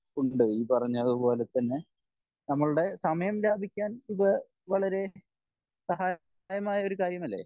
ഉണ്ട് ഈ പറഞ്ഞതുപോലെതന്നെ നമ്മളുടെ സമയം ലാഭിക്കാൻ ഇത് വളരേ സഹായമായ ഒരു കാര്യമല്ലേ